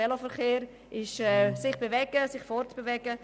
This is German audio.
Vielmehr ist Veloverkehr sich bewegen, sich fortbewegen.